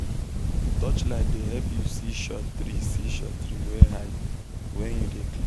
touchlight dey help you see short tree see short tree wey hide when you dey clear bush for early momo